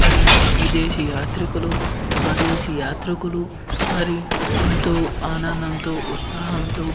మరి విదేశీ యాత్రికులు స్వదేశీ యాత్రికులు మరి ఎంతో ఆనందంతో ఉత్సహాంతో --